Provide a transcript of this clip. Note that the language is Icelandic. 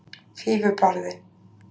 Fífubarði